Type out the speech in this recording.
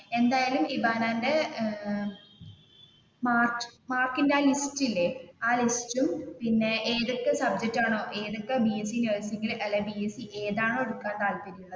എന്തായാലും ഇബാനാന്റെ മാമാർക്കിന്റെ ആ ഒരു ലിസ്റ്റ് ഇല്ലേ ആ ലിസ്റ്റും പിന്നെ ഏതു സബ്ജക്ട് ആണോ ഏതൊക്കെ ബിഎസ് സി നേഴ്സിങ് അല്ലെങ്കിൽ ഇതാണോ എടുക്കാന് താല്പര്യം.